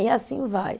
E assim vai.